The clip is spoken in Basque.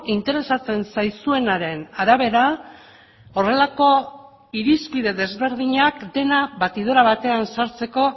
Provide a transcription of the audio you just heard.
interesatzen zaizuenaren arabera horrelako irizpide desberdinak dena batidora batean sartzeko